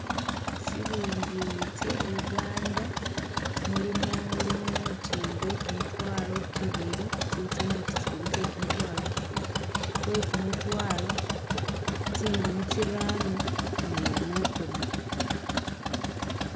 Tsilingi tse uganda mulimo lu note lwe kimitwalo kibili tsili tsinote tsibili tse kimitwalo kibili, lwekumutwalo, tsingumi tsirano ni lukhumi.